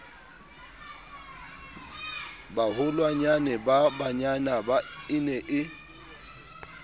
baholwanyane ba bananyana e ne